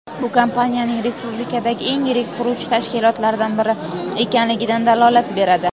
Bu kompaniyaning respublikadagi eng yirik quruvchi tashkilotlardan biri ekanligidan dalolat beradi.